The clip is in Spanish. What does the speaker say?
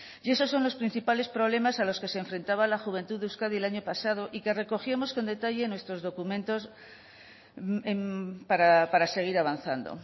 y esos son los principales problemas a los que se enfrentaba la juventud de euskadi el año pasado y que recogíamos con detalle en nuestros documentos para seguir avanzando